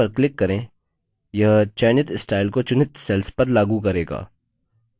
यह चयनित स्टाइल को चुनित cells पर लागू करेगा